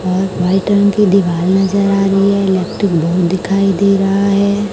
और व्हाइट रंग की दीवाल नजर आ रही है इलेक्ट्रिक बोर्ड दिखाई दे रहा है।